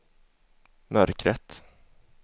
mörkret